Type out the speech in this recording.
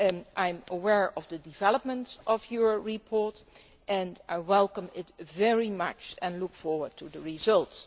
I am well aware of the developments concerning your report, and I welcome it very much and look forward to the results.